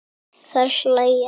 Þær hlæja.